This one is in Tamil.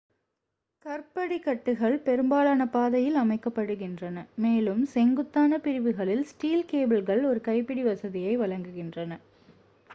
கற்படிக்கட்டுகள் பெரும்பாலான பாதையில் அமைக்கப்படுகின்றன மேலும் செங்குத்தான பிரிவுகளில் ஸ்டீல் கேபிள்கள் ஒரு கைப்பிடி வசதியை வழங்குகின்றன